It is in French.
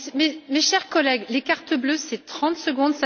Mes chers collègues, les cartons bleus, c'est trente secondes.